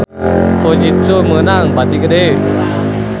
Fujitsu meunang bati gede